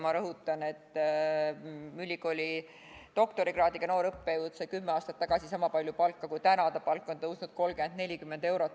Ma rõhutan, et ülikooli doktorikraadiga noor õppejõud sai kümme aastat tagasi sama palju palka kui praegu, tema palk on tõusnud 30 või 40 eurot.